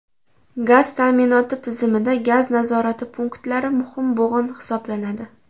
Gaz ta’minoti tizimida gaz nazorati punktlari muhim bo‘g‘in hisoblanadi.